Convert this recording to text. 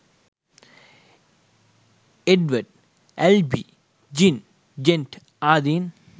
එඩ්වඩ් Albee Jean Janet ආදීන්